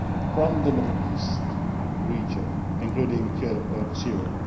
from the Middle East region, including